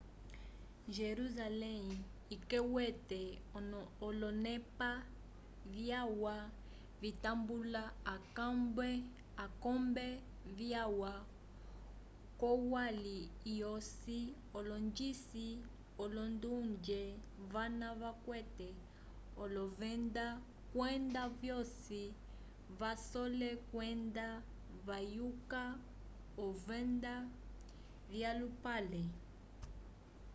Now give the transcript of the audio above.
jerusalém ikwete olonepa vyalwa vitambula akombe viya k'olwali lwosi alongisi olondonge vana vakwete olovenda kwenda vosi vasole okwenda vayuka ovenda vyolupale